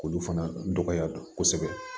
K'olu fana dɔgɔya kosɛbɛ